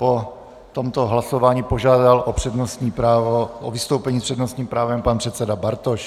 Po tomto hlasování požádal o vystoupení s přednostním právem pan předseda Bartoš.